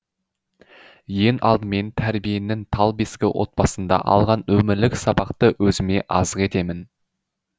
ең алдымен тәрбиенің тал бесігі отбасында алған өмірлік сабақты өзіме азық етемін